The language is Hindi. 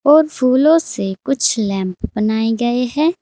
और फूलो से कुछ लैंप बनाये गये है।